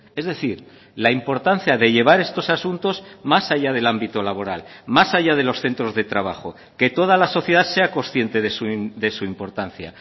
es decir la importancia de llevar estos asuntos más allá del ámbito laboral más allá de los centros de trabajo que toda la sociedad sea consciente de su importancia